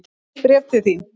Bréf til þín.